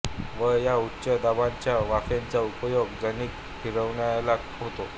व या उच्च दाबाच्या वाफेचा उपयोग जनित्र फिरवायला होतो